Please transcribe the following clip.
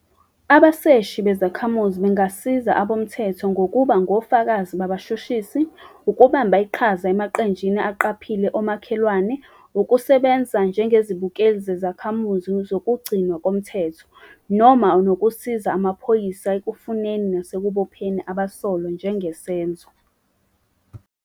Abaseshi bezakhamuzi bangasiza futhi abomthetho ngokuba ngofakazi babashushisi, ukubamba iqhaza emaqenjini aqaphile omakhelwane, ukusebenza njengezibukeli zezakhamuzi zokugcinwa komthetho, noma ngisho nokusiza amaphoyisa ekufuneni nasekubopheni abasolwa njengesenzo.